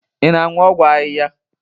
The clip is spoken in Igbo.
Ị na-aṅụ ọgwụ ahịhịa?